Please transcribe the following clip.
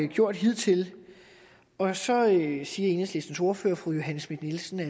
gjort hidtil og så siger enhedslistens ordfører fru johanne schmidt nielsen at